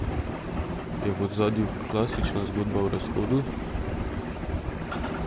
Je v ozadju klasična zgodba o razhodu?